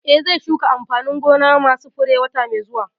Eh, zai shuka amfanin gona ma su fure wata mai zuwa